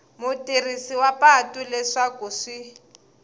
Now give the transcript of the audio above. mutirhisi wa patu leswaku swi